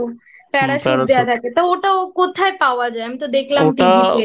হুম্ Parachute